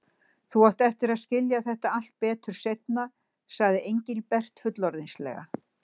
Þú átt eftir að skilja þetta allt betur seinna, sagði Engilbert fullorðinslega.